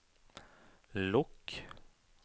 lukk